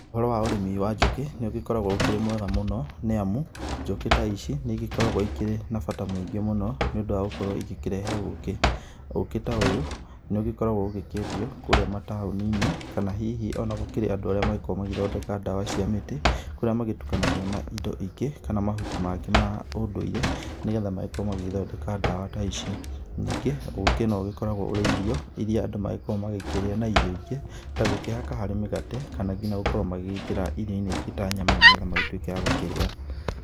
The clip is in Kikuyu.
Ũhoro wa ũrĩmi wa njũkĩ nĩ ũgĩkoragwo ũkĩrĩ mwega mũno nĩ amu njũkĩ ta ici nĩ igĩkoragwo ikĩrĩ na bata mũingĩ mũno nĩ ũndũ wa gũkorwo igĩkĩrehe ũkĩ. Ũkĩ ta ũyũ nĩ ũgĩkoragwo ũgĩkĩendio kũrĩa matũni-inĩ kana hihi ona gũkĩrĩ andũ arĩa magĩkoragwo magĩthondeka ndawa cia mĩtĩ kũrĩa magĩtukanagia na indo ingĩ kana mahuti mangĩ ma ũndũire nĩ getha magĩkorwo magĩthondeka ndawa ta ici. Nĩngĩ ũkĩ nĩ ũgĩkoragwo ũrĩ irio ira andũ magĩkĩrĩa na irio ingĩ ta gũkĩhaka harĩ mĩgate kana ngina gũkorwo magĩgĩkĩra iro-inĩ ingĩ ta nyama nĩ getha magĩtuĩke agũkĩrĩa.